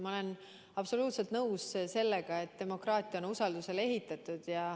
Ma olen absoluutselt nõus, et demokraatia on usaldusele ehitatud.